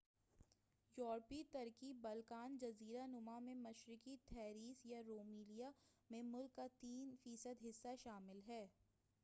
یوروپی ترکی بلقان جزیرہ نما میں مشرقی تھریس یا رومیلیا میں ملک کا 3% حصہ شامل ہے-